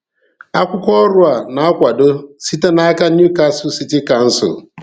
Akwụkwọ ọrụ a na-akwado site n’aka Newcastle City Council.